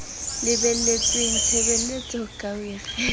lebeletsweng tshebeletsong ka ho ikgetha